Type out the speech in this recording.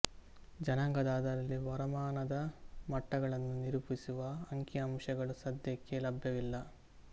ಜನಾಂಗದ ಆಧಾರದಲ್ಲಿ ವರಮಾನದ ಮಟ್ಟಗಳನ್ನು ನಿರೂಪಿಸುವ ಅಂಕಿಅಂಶಗಳು ಸದ್ಯಕ್ಕೆ ಲಭ್ಯವಿಲ್ಲ